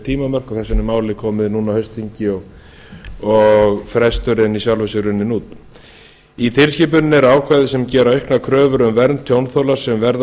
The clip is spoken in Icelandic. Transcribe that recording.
tímamörk og þess vegna er málið komið núna á haustþingi og fresturinn í sjálfu sér runninn út í tilskipuninni eru ákvæði sem gera auknar kröfur um vernd tjónþola sem verða